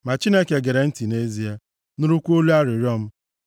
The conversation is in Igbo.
ma Chineke gere ntị nʼezie, nụrụkwa olu arịrịọ m.